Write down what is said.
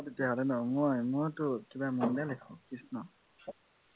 তেতিয়াহলে ন মই মইটো কিবা লিখোঁ কৃ্ষ্ঞ